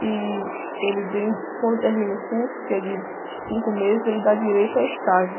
e ele, den, quando termina o curso, que é de cinco meses, ele dá direito a estágio.